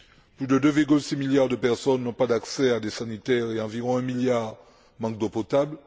Plus de 2,6 milliards de personnes n'ont pas accès à des sanitaires et environ 1 milliard manque d'eau potable.